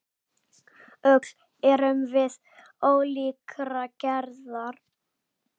Öll erum við ólíkrar gerðar.